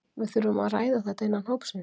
Við þurfum að ræða þetta innan hópsins.